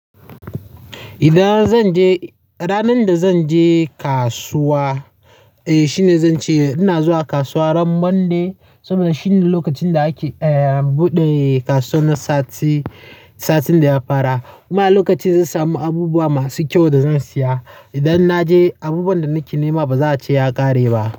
Idan zan je ranar da zan je kasuwa, eh shine zan ce ina zuwa kasuwa ran Monday saboda shine lokacin da ake, eh buɗe kasuwa na sati, satin da ya fara kuma lokacin zan samu abubuwa masu kyau da zan siya. Idan na je abubuwan da nake nema ba za a ce ya ƙare ba.